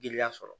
Giriya sɔrɔ